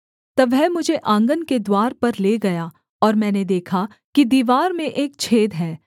तब वह मुझे आँगन के द्वार पर ले गया और मैंने देखा कि दीवार में एक छेद है